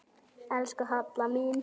Elsku Halla mín.